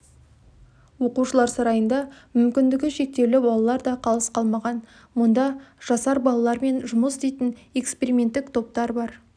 оқушылар сарайында мүмкіндігі шектеулі балалар да қалыс қалмаған мұнда жасар балалармен жұмыс істейтін эксперименттік топтар бар